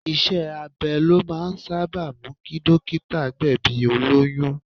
Iṣẹ́ abẹ ló máa ń sábà mú kí dókítà gbẹ̀bi olóyún.